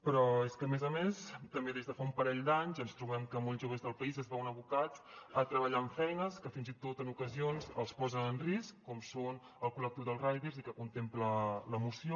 però és que a més a més també des de fa un parell d’anys ens trobem que molts joves del país es veuen abocats a treballar en feines que fins i tot en ocasions els posa en risc com és el col·lectiu dels riders i que contempla la moció